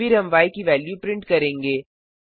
फिर हम य की वेल्यू प्रिंट करेंगे